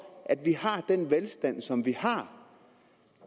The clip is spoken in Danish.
at vi har den velstand som vi har